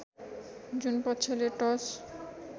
जुन पक्षले टस